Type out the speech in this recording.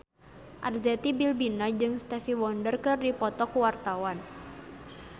Arzetti Bilbina jeung Stevie Wonder keur dipoto ku wartawan